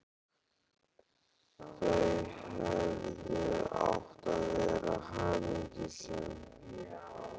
Þau hefðu átt að vera hamingjusöm.